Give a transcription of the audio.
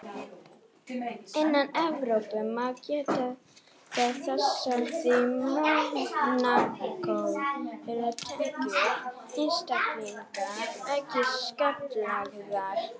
Innan Evrópu má geta þess að í Mónakó eru tekjur einstaklinga ekki skattlagðar.